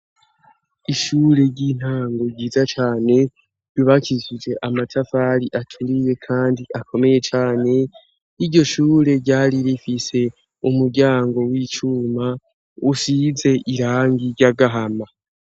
Ishure ry'intango ryiza cane bibakizije amatafari aturiye, kandi akomeye cane iryo shure ryari bifise umuryango w'icuma usize irangi ry'agahama.